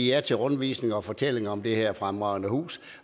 ja til rundvisninger og til at fortælle om det her fremragende hus